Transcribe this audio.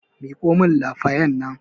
Miƙo min lafayan nan